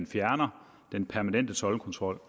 fjerne den permanente toldkontrol